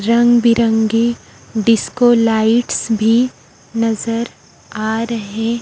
रंग बिरंगी disco lights भी नजर आ रहे--